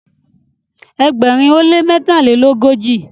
ẹgbẹrin o le mẹtalelogoji